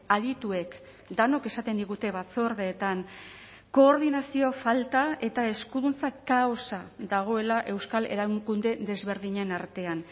adituek denok esaten digute batzordeetan koordinazio falta eta eskuduntza kaosa dagoela euskal erakunde desberdinen artean